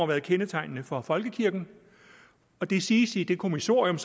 været kendetegnende for folkekirken og det siges i det kommissorium